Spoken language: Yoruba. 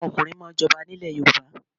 Àwọn ọ̀kùnrin máà ń jọba ni ilẹ̀ Yorùbá